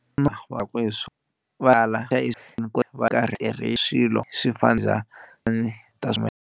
wakwe swo swa if va tirhe xilo swi fa njhani .